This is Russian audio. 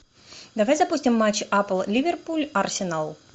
давай запустим матч апл ливерпуль арсенал